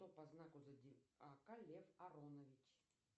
кто по знаку зодиака лев аронович